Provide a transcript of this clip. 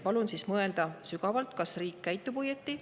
Palun sügavalt mõelda, kas riik käitub õigesti.